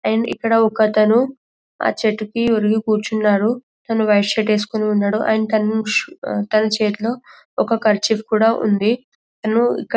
and ఇక్కడ ఒకతను ఆ చెట్టుకు ఒరిగి కూర్చున్నాడు తను వైట్ షర్ట్ ఏస్కున్నాడు తన చేతులో ఒక కర్చీఫ్ కూడా ఉంది --